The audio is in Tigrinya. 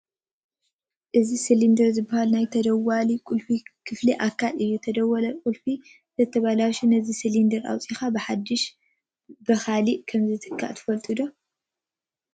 እዚ ስሊንደር ዝበሃል ናይ ተደዋሊ ቁልፊ ክፍሊ ኣካል እዩ፡፡ ተደዋሊ ቁልፊ እንትበላሾ ነዚ ስሊንደር ኣውፂእኻ ብሓዱሽ ብምትካእ ከምዝከኣል ትፈልጡ ዶ?